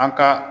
An ka